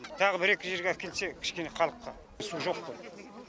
тағы бір екі жерге әкелсе кішкене халыққа су жоқ қой